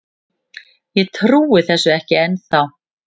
Ég trúi þessu ekki ennþá.